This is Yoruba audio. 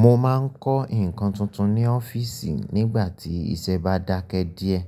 Mo máa ń kọ́ nǹkan tuntun ní ọ́fíìsì nígbà tí iṣẹ́ bá dákẹ́ díẹ̀.